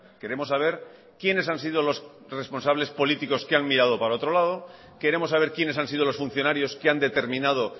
queremos saber quiénes han sido los responsables políticos que han mirado para otro lado queremos saber quiénes han sido los funcionarios que han determinado